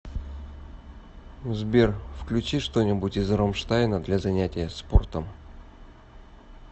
сбер включи что нибудь из ромштайна для занятия спортом